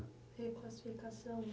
Reclassificação.